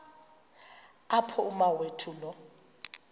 apho umawethu lo